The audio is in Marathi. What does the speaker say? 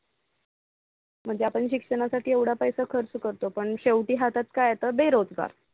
म्हणजे आपण शिक्षणाचा येवडा पैसा खर्च करतो. पण शेवटी हातात काय येत बेरोजगार.